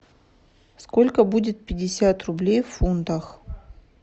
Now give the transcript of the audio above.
сколько будет пятьдесят рублей в фунтах